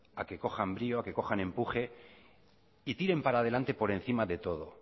a que cojan brío a que cojan empuje y tiren para adelante por encima de todo